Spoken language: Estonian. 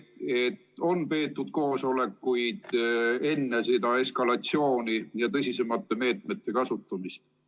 Kas on peetud koosolekuid enne seda eskalatsiooni ja tõsisemate meetmete kasutamist?